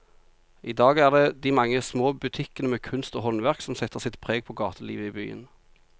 I dag er det de mange små butikkene med kunst og håndverk som setter sitt preg på gatelivet i byen.